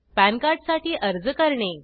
pan card साठी अर्ज करणे